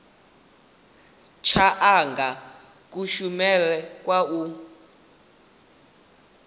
tsha anga kushumele kwa u